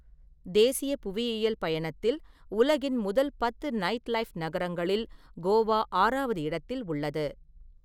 தேசிய புவியியல் பயணத்தில் உலகின் முதல் பத்து நைட்லைஃப் நகரங்களில் கோவா ஆறாவது இடத்தில் உள்ளது.